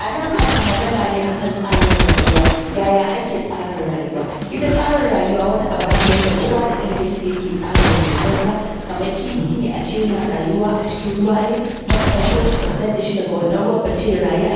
Anan ana magana ne akan tsarin rayuwa. Yaya ake tsara rayuwa? Ita tsarin rayuwa wata abace wanda kowa da irin yadda yake tsarin rayuwarsa, kamar kifi ne ace yana rayuwa a cikin ruwa ne, kuma ka ɗauko shi daga wannan ruwan kace ya rayu a